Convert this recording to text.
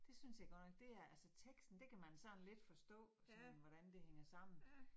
Det synes jeg godt nok det er. Altså teksten det kan man sådan lidt forstå, sådan hvordan det hænger sammen